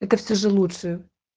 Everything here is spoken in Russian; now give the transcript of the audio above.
это все же лучше